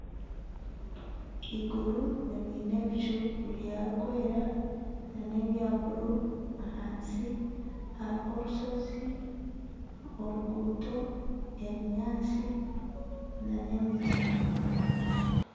Eiguru riine ebicu ebirikwera ,nana ebya buru ahansi hariho orusozi oruguuto ebinyatsi na n'emiti